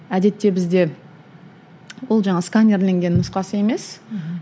әдетте бізде ол жаңағы сканерленген нұсқасы емес